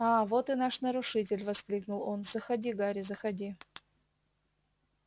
аа вот и наш нарушитель воскликнул он заходи гарри заходи